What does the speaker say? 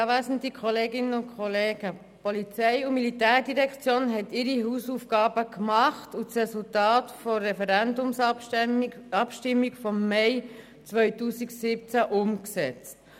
Die POM hat ihre Hausaufgaben gemacht und das Resultat der Referendumsabstimmung vom Mai 2017 umgesetzt.